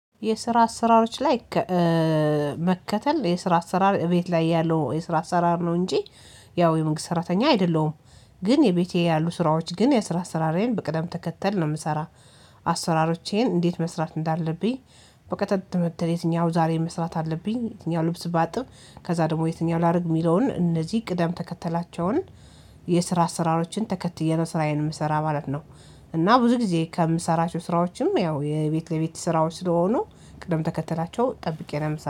የስራ አሰራሮች ላይ መከተል የስራ አሰራር ቤት ላይ ያለው የስራ አሰራር ነው እንጂ ያው የመንግስት ሰራተኛ አይደለሁም። ግን የቤቴ ያሉ ስራዎች ግን የስራ አሰራሬን በቅደም ተከተል ነው የምሰራ አሰራሮቼን እንዴት መስራት እንዳለብኝ በቅደም ተከተል የትኛው ዛሬ መስራት አለብኝ የትኛው ልብስ ባጥብ ከዛ ደግሞ የትኛውን ላድርግ የሚለውን እነዚህ ቅደም ተከተላቸውን የስራ አሰራሮችን ተከትዬ ነው ስራዬን የምሰራ ማለት ነው። እና ብዙ ጊዜ ከምሰራቸው ስራዎችም ያው የቤት ለቤት ስራዎች ስለሆኑ ቅደም ተከተላቸው ጠብቄ ነው